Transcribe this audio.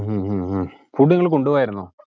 ഉം ഉം ഉം food നിങ്ങള് കൊണ്ടുപോയാരുന്നോ?